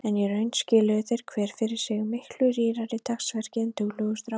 En í raun skiluðu þeir hver fyrir sig miklu rýrara dagsverki en duglegur strákur.